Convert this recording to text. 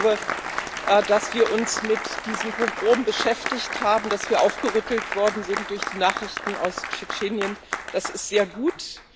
Ich glaube, dass wir uns mit diesem Pogrom beschäftigt haben, dass wir aufgerüttelt worden sind durch die Nachrichten aus Tschetschenien, das ist sehr gut.